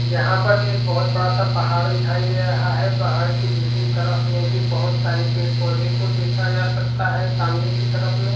यहाँ पर एक बहुत बड़ा सा पहाड़ दिखाई दे रहा है पहाड़ के दूसरी तरफ में भी बहुत सारे पेड़ पौधे को भी देखा जा सकता है सामने के तरफ में--